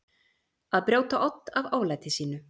Að brjóta odd af oflæti sínu